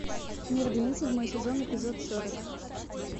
мерлин седьмой сезон эпизод сорок